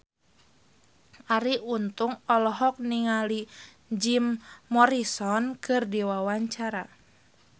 Arie Untung olohok ningali Jim Morrison keur diwawancara